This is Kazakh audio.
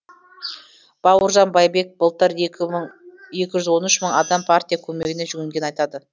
бауыржан байбек былтыр екі жүз он үш мың адам партия көмегіне жүгінгенін айтады